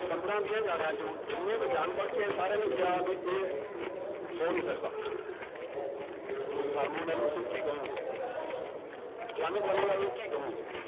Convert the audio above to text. ਪੰਦਰਾਂ ਵੀਹਾਂ ਜਾਣਿਆਂ ਚੋਂ ਜਿੰਨੇ ਵਿਗਿਆਨ ਪੜ੍ਹਕੇ ਆਏ ਸਾਰਿਆਂ ਨੇ ਕਿਹਾ ਵੀ ਇਹ ਹੋ ਨੀ ਸਕਦਾ ਵੀ ਨੂੰ ਕੀ ਕਹੋਗੇ ਕੀ ਕਹੋਂਗੇ